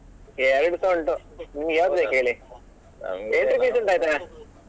ಎರಡು ಸ ಉಂಟು ನಿಮ್ಗೆ ಯಾವ್ದು ಬೇಕು ಹೇಳಿ entry fees ಉಂಟು ಆಯ್ತಾ.